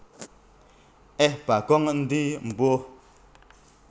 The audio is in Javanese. Eh Bagong endi Embuh